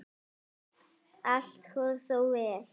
Allt fór þó vel.